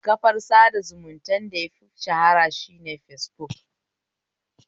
Kafar sada zumuntan da yafi shahara shine fesbuk